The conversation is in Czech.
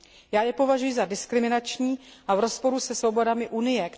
Já je považuji za diskriminační a v rozporu se svobodami Unie.